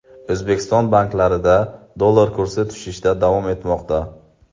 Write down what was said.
O‘zbekiston banklarida dollar kursi tushishda davom etmoqda.